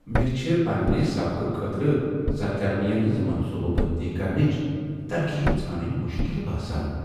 مے چھ پننِہ سبقہٕ خٲطرٕ سرگرمین ہٕنز منصوبہٕ بندی کرنٕچ ترغیب ژھانڈنۍ مشکل باسان ۔